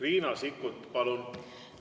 Riina Sikkut, palun!